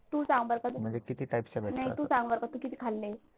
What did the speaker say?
तू सांग बरं नाही तू सांग बरं किती खाल्ली?